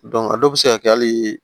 a dɔw bɛ se ka kɛ hali